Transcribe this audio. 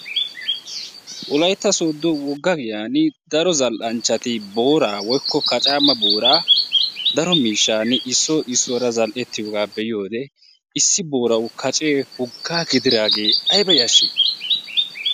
wolaytta soodo wogga giyan boora woykko kacaama boora daro miishani issoy issuwara zal'etiyoga be'iyode kacee issuwawu aybba yashii?